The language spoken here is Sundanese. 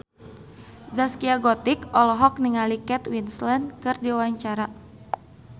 Zaskia Gotik olohok ningali Kate Winslet keur diwawancara